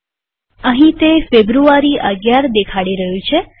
અહીં તે ફેબ્રુઆરી ૧૧ દેખાડી રહ્યું છે